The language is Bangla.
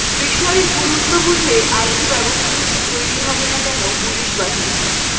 বিষয়ের গুরুত্ব বুঝে আশু ব্যবস্থা নিতে তৈরি হবে না কেন পুলিশ বাহিনী